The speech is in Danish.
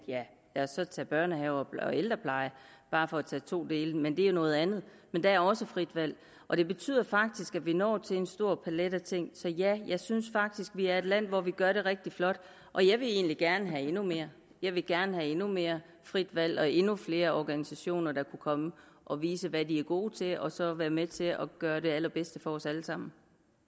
ja lad os så tage børnehaver og ældreplejen bare for at tage to dele men det er noget andet der er også frit valg og det betyder faktisk at vi når til en stor palet af ting så ja jeg synes faktisk at vi er et land hvor vi gør det rigtig flot og jeg vil egentlig gerne have endnu mere jeg vil gerne have endnu mere frit valg og endnu flere organisationer der kunne komme og vise hvad de er gode til og så være med til at gøre det allerbedste for os alle sammen